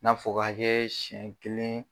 N'a fɔ k'an ye siɲɛ kelen